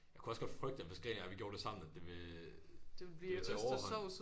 Jeg kunne også godt frygte at hvis gren og jeg vi gjorde det sammen at det ville det ville tage overhånd